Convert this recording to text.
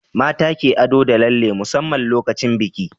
mata ke ado da lalle musamman lokacin biki